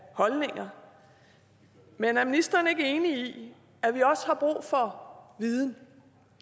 holdninger men er ministeren ikke enig i at vi også har brug for viden